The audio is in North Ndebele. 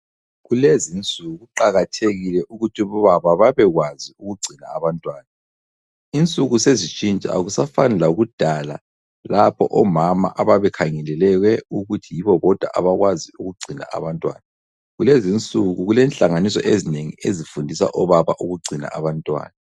Kulezinsuku kuqakathekile ukuthi obaba babekwazi ukugcina abantwana. Insuku sezitshintsha, akusafani lakudala lapho omama ababekhangelelwe ukuthi yibo bodwa abakwazi ukugcina abantwana. Kulezi insuku, kulenhlanganiso ezinengi ezifundisa obaba ukugcina abantwana.